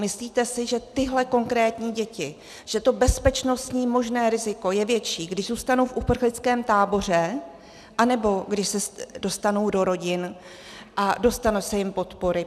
Myslíte si, že tyhle konkrétní děti, že to bezpečnostní možné riziko je větší, když zůstanou v uprchlickém táboře, anebo když se dostanou do rodin a dostane se jim podpory?